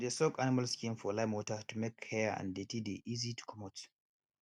we dey soak animal skin for limewater to make hair and deti dey easy to comot